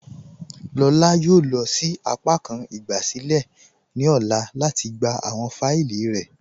Lọlá yóò lọ sí àpàkàn ìgbàsílẹ̀ ní ọlá lati gbà awọn fáílì rẹ̀.